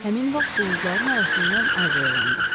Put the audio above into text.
Həmin vaxt buludların arasından Ay boylandı.